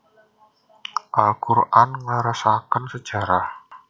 Al Qur an ngleresaken sejarah